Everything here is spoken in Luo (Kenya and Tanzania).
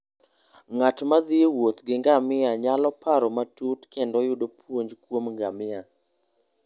Ng'at ma thi e wuoth gi ngamia nyalo paro matut kendo yudo puonj kuom ngima.